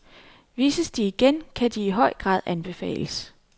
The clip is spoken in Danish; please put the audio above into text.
Vises de igen, kan de i høj grad anbefales.